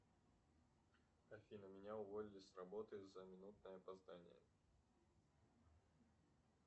афина меня уволили с работы за минутное опоздание